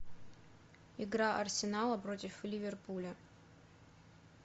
игра арсенала против ливерпуля